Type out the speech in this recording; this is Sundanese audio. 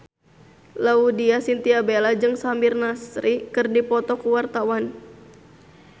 Laudya Chintya Bella jeung Samir Nasri keur dipoto ku wartawan